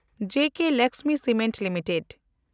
ᱡᱮᱠᱮ Lakshmi cement limited